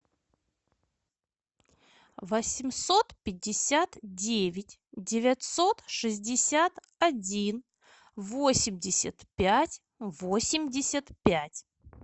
восемьсот пятьдесят девять девятьсот шестьдесят один восемьдесят пять восемьдесят пять